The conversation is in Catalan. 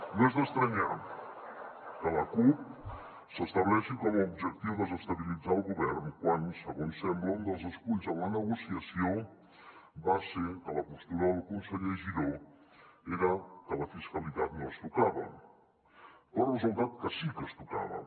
no és d’estranyar que la cup s’estableixi com a objectiu desestabilitzar el govern quan segons sembla un dels esculls en la negociació va ser que la postura del conseller giró era que la fiscalitat no es tocava però ha resultat que sí que es tocava